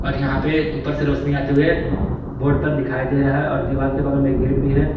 और यहां पे ऊपर से रोशनी आते हुए बोर्ड पर दिखाई दे रहा है और दीवार के बगल में एक गेट भी है।